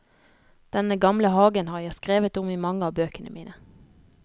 Denne gamle hagen har jeg skrevet om i mange av bøkene mine.